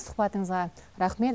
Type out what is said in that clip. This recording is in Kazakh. сұхбатыңызға рахмет